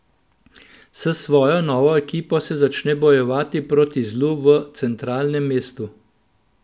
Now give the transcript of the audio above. S svojo novo ekipo se začne bojevati proti zlu v Centralnem mestu.